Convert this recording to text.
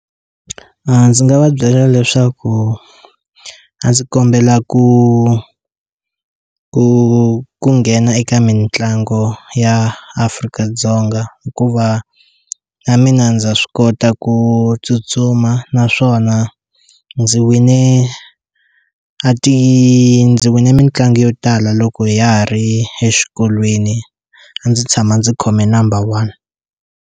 A ndzi nga va byela leswaku a ndzi kombela ku ku ku nghena eka mitlangu ya Afrika-Dzonga hikuva mina ndza swi kota ku tsutsuma naswona ndzi wine a ti ndzi wine mitlangu yo tala loko hi ya ha ri exikolweni a ndzi tshama ndzi khome number 1.